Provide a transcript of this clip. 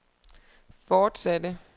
fortsatte